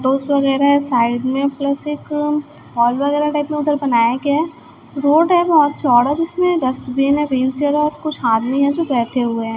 वगैरह है साइड में प्लस एक हॉल वगैरह टाइप में उधर बनाया गया रोड है बहोत चौड़ा जिसमें डस्टबिन है व्हीलचेयर है और कुछ आदमी है जो बैठे हुए हैं।